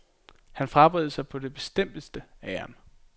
Han frabad sig på det bestemteste æren.